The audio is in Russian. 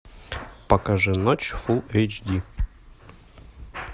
покажи ночь фулл эйч ди